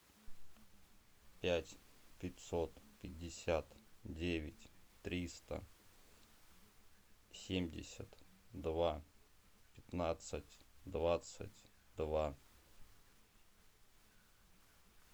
пять пятьсот пятьдесят девять триста семьдесят два пятнадцать двадцать два